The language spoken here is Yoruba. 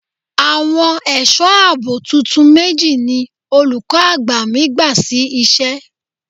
Àwọn ẹ̀sọ́ àbò tuntun méjì ni olùkọ́ àgbà mi gbà sí iṣẹ́.